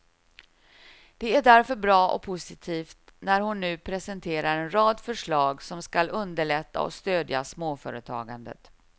Det är därför bra och positivt när hon nu presenterar en rad förslag som skall underlätta och stödja småföretagandet.